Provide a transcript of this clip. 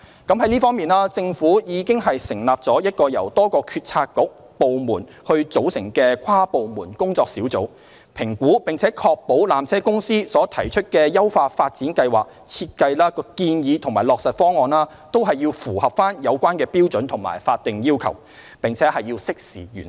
就這方面，政府已經成立了一個由多個政策局/部門組成的跨部門工作小組，評估並確保纜車公司所提出的優化發展計劃設計建議和落實方案均符合有關標準和法定要求，並適時完成。